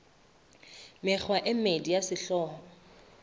mekgwa e mmedi ya sehlooho